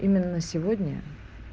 именно на сегодня